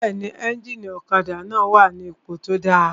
Bẹ́ẹ̀ni, éjìnì ọ̀kadà náà wà ní ipò tó dáa